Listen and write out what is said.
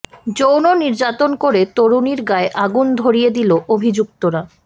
যৌন নির্যাতন করে তরুণীর গায়ে আগুন ধরিয়ে দিল অভিযুক্তরা